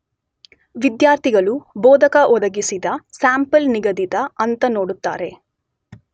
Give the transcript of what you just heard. ವಿದ್ಯಾರ್ಥಿಗಳು ಬೋಧಕ ಒದಗಿಸಿದ ಸ್ಯಾಂಪಲ್ ನಿಗದಿತ ಅಂಕ ನೋಡುತ್ತಾರೆ